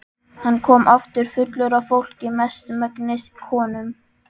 Hann kom aftur fullur af fólki, mestmegnis konum.